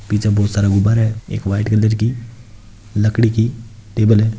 पीछे बहुत सारा बुफर एक व्हाइट कलर की लकड़ी की टेबल है।